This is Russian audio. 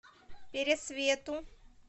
пересвету